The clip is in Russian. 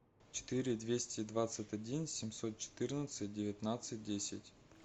четыре двести двадцать один семьсот четырнадцать девятнадцать десять